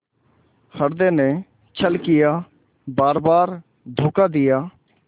हृदय ने छल किया बारबार धोखा दिया